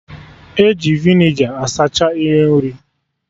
E ji vinegar asacha ihe nri